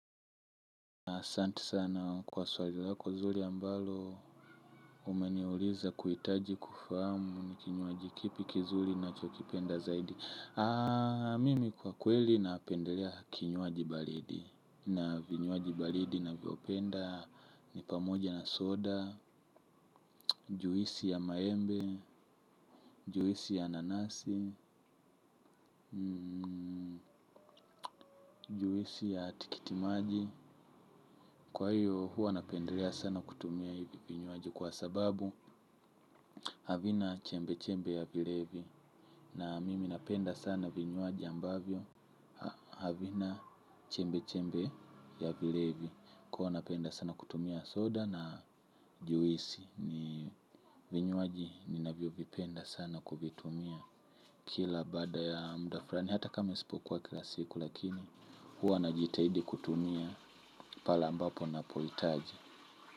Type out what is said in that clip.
Asanti sana kwa swali lako zuri ambalo, umeniuliza kuhitaji kufahamu ni kinywaji kipi kizuri nachokipenda zaidi. Mimi kwa kweli napendelea kinywaji baridi na vinywaji baridi navyopenda ni pamoja na soda, juisi ya maembe, juisi ya nanasi, juisi ya tikitimaji. Kwa hiyo huwa napendelea sana kutumia hivi vinywaji kwa sababu havina chembe chembe ya vilevi. Na mimi napenda sana vinywaji ambavyo havina chembe chembe ya vilevi. Kwa napenda sana kutumia soda na juisi. Vinywaji ninavyovipenda sana kuvitumia. Kila bada ya muda fulani hata kama isipokuwa kila siku lakini huwa najitaidi kutumia pale ambapo napohitaji.